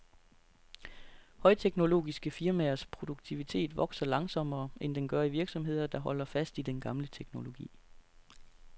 Højteknologiske firmaers produktivitet vokser langsommere, end den gør i virksomheder, der holder fast i den gamle teknologi.